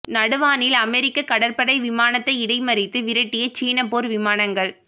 நடுவானில் அமெரிக்க கடற்படை விமானத்தை இடை மறித்து விரட்டிய சீன போர் விமானங்கள்